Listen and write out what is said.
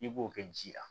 I b'o kɛ ji la